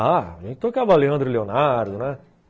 Ah, a gente tocava Leandro e Leonardo, né?